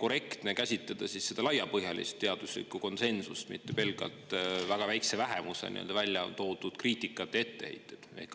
korrektne käsitleda laiapõhjalist teaduslikku konsensust, mitte pelgalt väga väikese vähemuse välja toodud kriitikat ja etteheiteid?